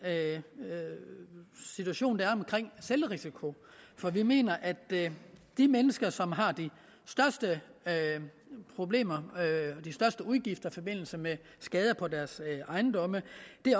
situation der er omkring selvrisikoen for vi mener at de mennesker som har de største problemer og udgifter i forbindelse med skader på deres ejendomme